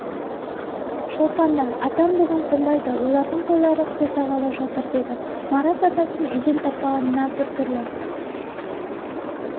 шолпан да атам бүгін қонбайды олардың қойлары қоздағалы жатыр деді марат атасын үйден таппағанына біртүрлі